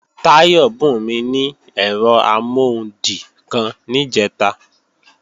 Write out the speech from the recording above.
Táyọ̀ bùnmí ní ẹ̀rọ amọ́hundì kan níjẹ̀ta